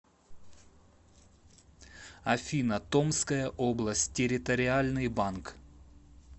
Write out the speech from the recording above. афина томская область территориальный банк